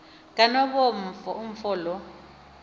kanobomi umfo lo